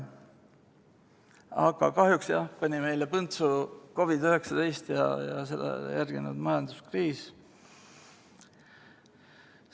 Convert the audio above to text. Aga kahjuks pani meile põntsu COVID-19 ja sellele järgnenud majanduskriis.